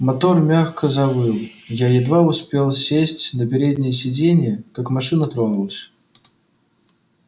мотор мягко завыл я едва успел сесть на переднее сиденье как машина тронулась